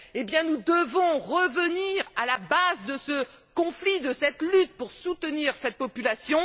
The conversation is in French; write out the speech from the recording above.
Or, nous devons revenir à la base du conflit, de cette lutte, pour soutenir la population.